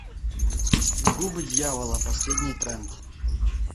губы дьявола последний тренд